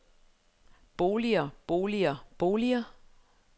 boliger boliger boliger